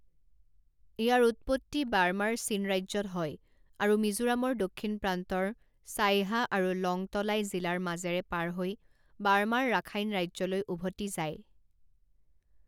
ইয়াৰ উৎপত্তি বাৰ্মাৰ চিন ৰাজ্যত হয় আৰু মিজোৰামৰ দক্ষিণ প্ৰান্তৰ ছাইহা আৰু লংটলাই জিলাৰ মাজেৰে পাৰ হৈ বাৰ্মাৰ ৰাখাইন ৰাজ্যলৈ উভতি যায়।